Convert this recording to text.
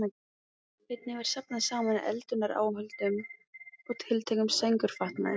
Einnig var safnað saman eldunaráhöldum og tiltækum sængurfatnaði.